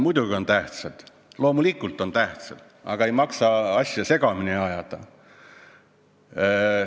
Muidugi on tähtsad, loomulikult on tähtsad, aga ei maksa asju segamini ajada.